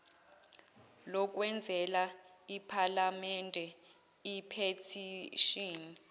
lokwenzela iphalamende iphethishini